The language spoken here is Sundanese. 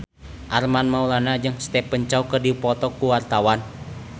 Armand Maulana jeung Stephen Chow keur dipoto ku wartawan